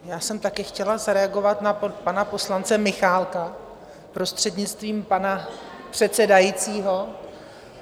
Já jsem taky chtěla zareagovat na pana poslance Michálka, prostřednictvím pana předsedajícího.